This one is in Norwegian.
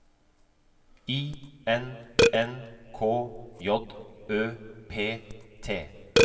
I N N K J Ø P T